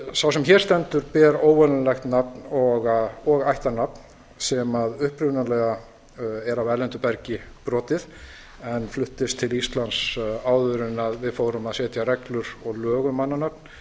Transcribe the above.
sá sem hér stendur ber óvenjulegt nafn og ættarnafn sem upprunalega er af erlendu bergi brotið en fluttist til íslands áður en við fórum að setja reglur og lög um mannanöfn